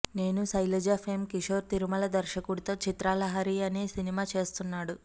నేను శైలజ ఫెమ్ కిషోర్ తిరుమల దర్శకుడితో చిత్రలహరి అనే సినిమా చేస్తున్నాడు